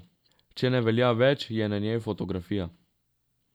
Če ne velja več, je na njej fotografija.